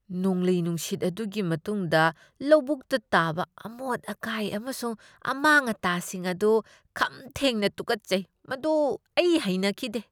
ꯅꯣꯡꯂꯩ ꯅꯨꯡꯁꯤꯠ ꯑꯗꯨꯒꯤ ꯃꯇꯨꯡꯗ ꯂꯧꯕꯨꯛꯇ ꯇꯥꯕ ꯑꯃꯣꯠ ꯑꯀꯥꯏ ꯑꯃꯁꯨꯡ ꯑꯃꯥꯡ ꯑꯇꯥꯁꯤꯡ ꯑꯗꯨ ꯈꯝ ꯊꯦꯡꯅ ꯇꯨꯀꯠꯆꯩ, ꯃꯗꯨ ꯑꯩ ꯍꯩꯅꯈꯤꯗꯦ꯫